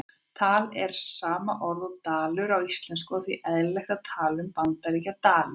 Tal er sama orðið og dalur á íslensku og því eðlilegt að tala um Bandaríkjadali.